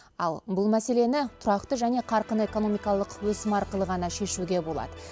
ал бұл мәселені тұрақты және қарқынды экономикалық өсім арқылы ғана шешуге болады